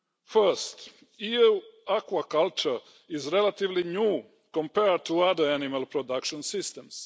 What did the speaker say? Firstly, EU aquaculture is relatively new compared to other animal products and systems.